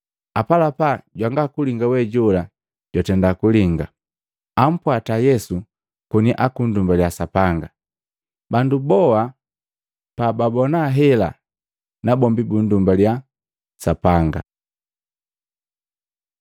Apalapa jwanga kulinga we jola jwatenda kulinga, ampwata Yesu koni akundumbaliya Sapanga: Bandu boa pababoona hela, nabombi bundumbaliya Sapanga.